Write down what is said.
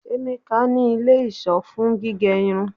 Emeka ni ile-iṣọ fun gige irun